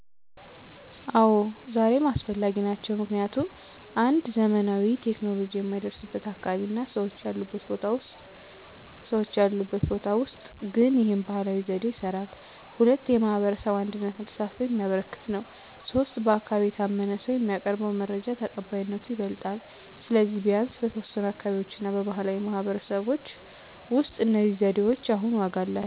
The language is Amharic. አዎ፣ ዛሬም አስፈላጊ ናቸው። ምክንያቱም 1. ዘመናዊ ቴክኖሎጂ የማይደረስበት አካባቢ እና ሰዎች ያሉበት ቦታ ውስጥ ግን ይህ ባህላዊ ዘዴ ይስራል። 2. የማህበረሰብ አንድነትን እና ተሳትፎን የሚያበረክት ነው። 3. በአካባቢ የታመነ ሰው የሚያቀርበው መረጃ ተቀባይነቱ ይበልጣል። ስለዚህ፣ ቢያንስ በተወሰኑ አካባቢዎች እና በባህላዊ ማህበረሰቦች ውስጥ እነዚህ ዘዴዎች አሁንም ዋጋ አላቸው።